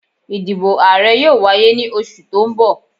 Ìdìbò Ààrẹ yóò wáyé ní oṣù tó ń bọ̀